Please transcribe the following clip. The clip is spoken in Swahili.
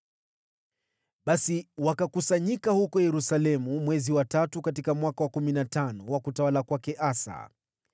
Basi wakakusanyika huko Yerusalemu mwezi wa tatu katika mwaka wa kumi na tano wa utawala wa Asa.